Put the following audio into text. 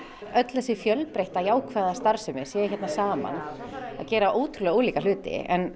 þessi fjölbreytta jákvæða starfsemi sé hérna saman að gera ólíka hluti en